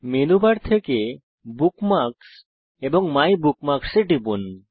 menu bar থেকে bookmarks এবং my bookmarks এ টিপুন